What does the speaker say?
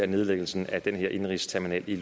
nedlæggelsen af indenrigsterminalen i